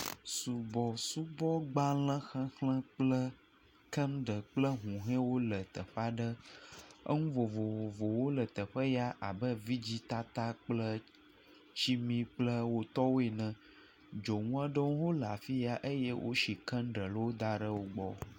Subɔsubɔgbalẽxexlẽ kple kandel kple huhɔwo le teƒe aɖe nu vovovowo le teƒe ya abe vidzitata kple tsimi kple wo tɔwo ene, dzonu aɖewo le afi sia eye wosi kandeliwo da ɖe wo gbɔ.